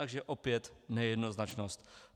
Takže opět nejednoznačnost.